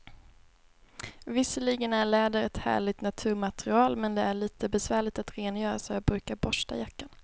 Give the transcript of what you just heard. Visserligen är läder ett härligt naturmaterial, men det är lite besvärligt att rengöra, så jag brukar borsta jackan.